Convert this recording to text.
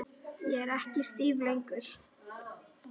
Ég er ekki stíf lengur.